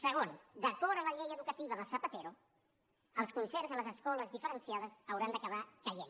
segon d’acord amb la llei educativa de zapatero els concerts a les escoles diferenciades hauran d’acabar caient